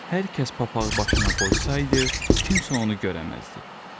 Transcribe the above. Hər kəs papağı başına qoysaydı, kimsə onu görə bilməzdi.